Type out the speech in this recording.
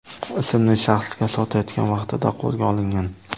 ismli shaxsga sotayotgan vaqtida qo‘lga olingan.